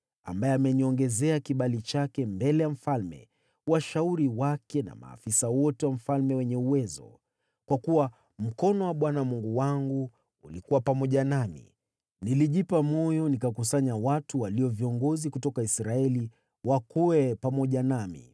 ambaye ameniongezea kibali chake mbele ya mfalme, washauri wake na maafisa wote wa mfalme wenye uwezo. Kwa kuwa mkono wa Bwana Mungu wangu ulikuwa pamoja nami, nilijipa moyo nikakusanya watu walio viongozi kutoka Israeli wakwee pamoja nami.